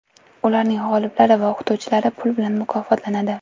Ularning g‘oliblari va o‘qituvchilari pul bilan mukofotlanadi.